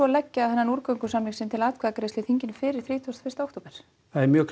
leggja úrgöngusamning sinn til atkvæðagreiðslu í þinginu fyrir þrítugasta og fyrsta október það er mjög